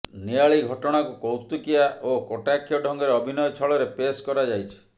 ନିଆଳି ଘଟଣାକୁ କୌତୁକିଆ ଓ କଟାକ୍ଷ ଢ଼ଙ୍ଗରେ ଅଭିନୟ ଛଳରେ ପେସ୍ କରାଯାଇଛି